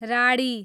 राडी